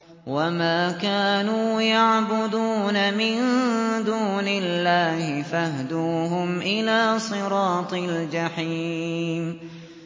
مِن دُونِ اللَّهِ فَاهْدُوهُمْ إِلَىٰ صِرَاطِ الْجَحِيمِ